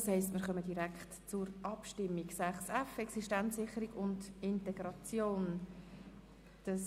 Das heisst, wir kommen direkt zu den Abstimmungen über die Planungserklärungen zum Themenblock 6.f Existenzsicherung und Integration I.